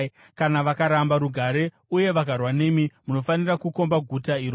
Kana vakaramba rugare uye vakarwa nemi, munofanira kukomba guta iroro.